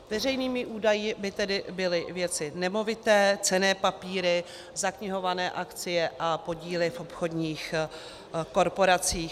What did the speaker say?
Veřejnými údaji by tedy byly věci nemovité, cenné papíry, zaknihované akcie a podíly v obchodních korporacích.